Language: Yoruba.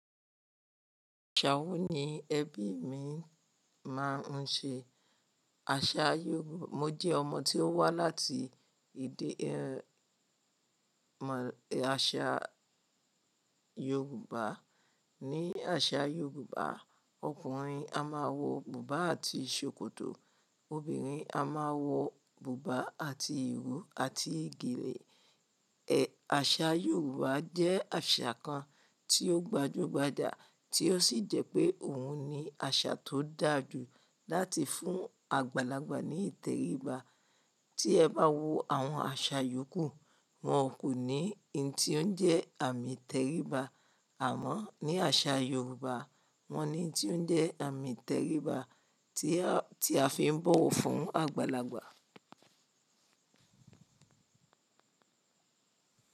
Yáwú ni ẹbí mi máa ń ṣe. Aṣa Yorù Mo jẹ́ ọmọ tí ó wá láti èdè ẹ̀ mọ aṣa Yorùbá. Ni àṣà Yorùbá ọkùnrin a máa wọ bùbá àti ṣòkòtò, obìnrin a máa wọ bùbá àti ìró àti gèlè. Ẹ̀ àṣà Yorùbá jẹ́ àṣà kan tí ó gbajúgbajà tí ó sì jẹ́ pé òhun ni àṣà tó dà jù láti fún àgbàlagbà ní ìtẹríba. Tí ẹ bá wo àwọn àṣà yòókù wọn kò ní ohun tí ó ń jẹ́ àmì ìtẹríba àmọ́ ní àṣà Yorùbá wọ́n ní ohun tí ó ń jẹ́ àmì ìtẹríba tí a, tí a fi ń bọ̀wọ̀ fún àgbàlagbà.